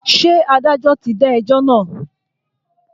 Ṣé adájọ́ ti dá ẹjọ́ náà?